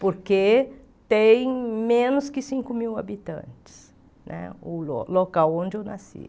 Porque tem menos que cinco mil habitantes né, o lo local onde eu nasci.